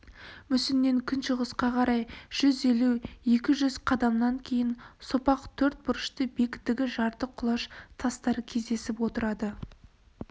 мүсіннен күншығысқа қарай жүз елу екі жүз қадамнан кейін сопақ төрт бұрышты биіктігі жарты құлаш тастар кездесіп отырады